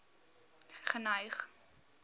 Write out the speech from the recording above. geneig